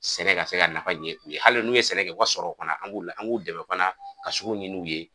Sɛnɛ ka se ka nafa ɲɛ u ye . Hali n'u ye sɛnɛ kɛ , u ka sɔrɔw fana an b'u dɛmɛ fana ka sugu ɲini u ye.